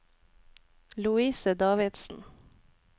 Louise Davidsen